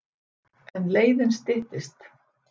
En leiðin styttist.